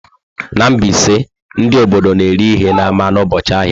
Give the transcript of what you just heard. Na Mbaise, ndị obodo na-ere ihe n'ámá n'ụbọchị ahịa.